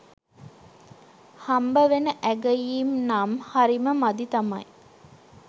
හම්බවෙන ඇගයීම්නම් හරිම මදි තමයි.